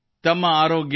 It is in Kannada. ತುಂಬ ಧನ್ಯವಾದಗಳು ಸರ್